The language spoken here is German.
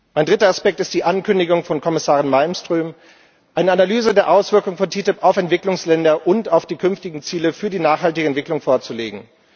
Ein dritter Aspekt ist die Ankündigung von Kommissarin Malmström, eine Analyse der Auswirkung der TTIP auf Entwicklungsländer und auf die künftigen Ziele für die nachhaltige Entwicklung vorzulegen.